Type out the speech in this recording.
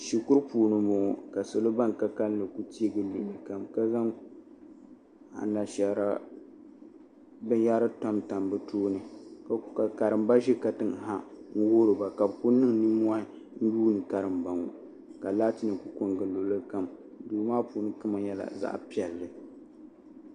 Shikuru puuni n boŋo ka salo ban ka kanli ku tee gili luɣuli kam ka zaŋ anashaara binyɛra tamtam bi tooni ka karimba ʒi katiŋ ha n wuhuriba ka bi ku niŋ nimmohi n yuubkarimba ŋo ka laati nim ku ko n gili luɣuli kam duu maa kama nyɛla zaɣ piɛlli